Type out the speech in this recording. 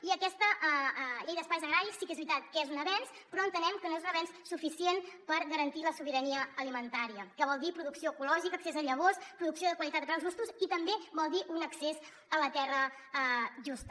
i aquesta llei d’espais agraris sí que és veritat que és un avenç però entenem que no és un avenç suficient per garantir la sobirania alimentària que vol dir producció ecològica accés a llavors producció de qualitat a preus justos i també vol dir un accés a la terra just